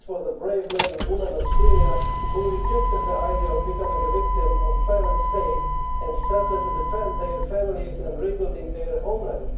These were the brave men and women of Syria who rejected the idea of becoming a victim of a violent state and started to defend their families and rebuild their homeland.